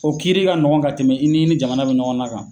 O kiiiri ka nɔgɔn ka tɛmɛ i ni ni jamana bɛ ɲɔgɔn na kan.